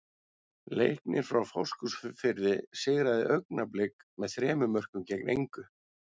Leiknir frá Fáskrúðsfirði sigraði Augnablik með þremur mörkum gegn engu.